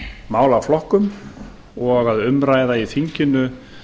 málaflokkum og að umræða í þinginu